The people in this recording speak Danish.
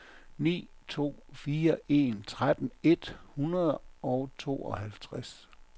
ni to fire en tretten et hundrede og tooghalvtreds